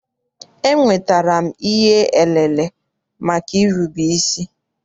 Enwetara m ihe elele maka irube isi.